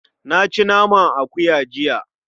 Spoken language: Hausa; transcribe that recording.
Na ci naman akuya jiya.